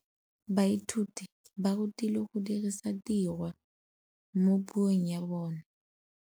Baithuti ba rutilwe go dirisa tirwa mo puong ya bone.